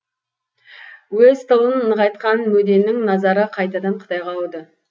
өз тылын нығайтқан мөденің назары қайтадан қытайға ауды